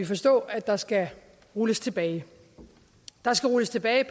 forstå at der skal rulles tilbage der skal rulles tilbage